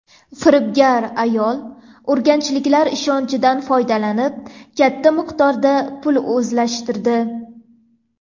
Firibgar ayol urganchliklar ishonchidan foydalanib, katta miqdorda pul o‘zlashtirdi.